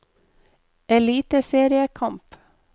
eliteseriekamp